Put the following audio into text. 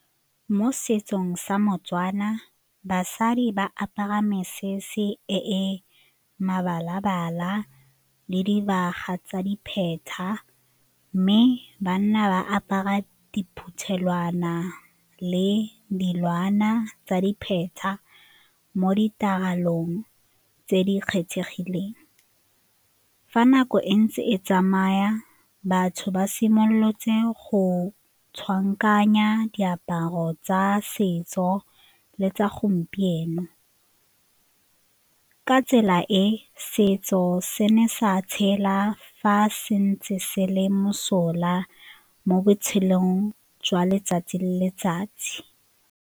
Mo setsong sa mo-Tswana, basadi ba apara mesese e mebala-bala le dibaga tsa dipheta mme banna ba apara diphuthelwana le dilwana tsa dipheta mo ditiragalong tse di kgethegileng. Fa nako e ntse e tsamaya batho ba simolotse go diaparo tsa setso le tsa gompieno, ka tsela e setso se ne sa tshela fa se ntse se le mosola mo botshelong jwa letsatsi le letsatsi.